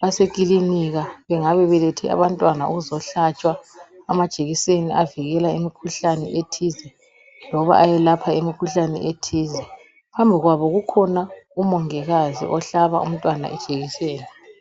basekilinika bengabe belethe abantwana ukuzohlatshwa amajekiseni avikela imikhuhlane ethize loba ayelapha imikhuhlane ethize. Phambi kwabo kukhona umongikazi ohlaba umntwana ijekiseni.